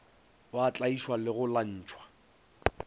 ba tlaišwa le go lwantšhwa